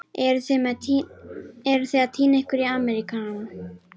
Eruð þið að týna ykkur í Ameríkana?